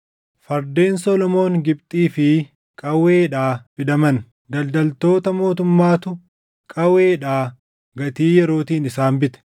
Fardeen Solomoon Gibxii fi Qaweedhaa fidaman; daldaltoota mootummaatu Qaweedhaa gatii yerootiin isaan bite.